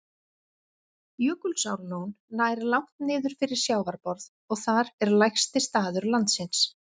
Jökulsárlón nær langt niður fyrir sjávarborð og þar er lægsti staður landsins.